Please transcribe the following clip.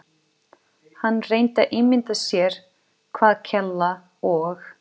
Hann reyndi að ímynda sér hvað Kela og